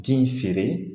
Ji feere